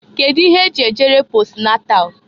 Kedu ihe e ji ejere posnatal?